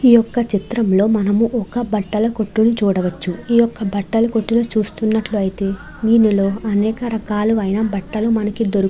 ఈ యొక్క చిత్రం లో మనము ఒక బట్టల కొట్టు ని చూడవచ్చు. ఈ యొక్క బట్టల కొట్టుని చూస్తున్నట్లయితే దీనిలో అనేక రకాలైన బట్టలు మనకి --